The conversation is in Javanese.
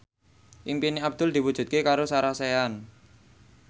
impine Abdul diwujudke karo Sarah Sechan